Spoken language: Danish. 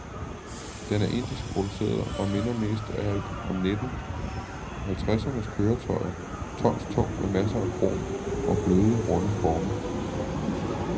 Den er indisk produceret og minder mest af alt om nitten halvtredsernes køretøjer, tonstung, med masser af krom og bløde, runde former.